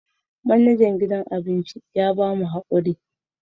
Manajan gidan abinci ya ba mu hakuri